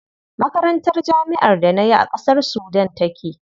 Makarantar jami'ar da nayi a ƙasar Sudan take.